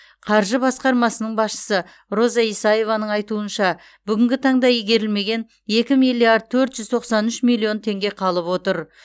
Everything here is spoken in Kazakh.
қаржы басқармасының басшысы роза исаеваның айтуынша бүгінгі таңда игерілмеген екі миллиард төрт жүз тоқсан үш миллион теңге қалып отыр